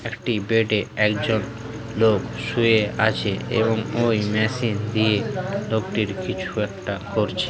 একটি বেডে একজনলোক শুয়েআছে এবং ওই মেশিন দিয়ে লোকটির কিছু একটা করছে।